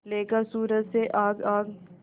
लेकर सूरज से आग आग